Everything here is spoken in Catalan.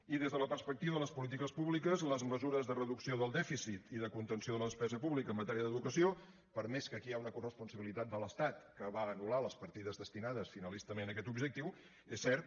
i des de la perspectiva de les polítiques públiques les mesures de reducció del dèficit i de contenció de la despesa pública en matèria d’educació per més que aquí hi ha una corresponsabilitat de l’estat que va anul·lar les partides destinades finalistament a aquest objectiu és cert